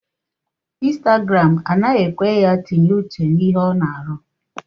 Instagram anaghị ekwe ya tinye uche na ihe ọ na arụ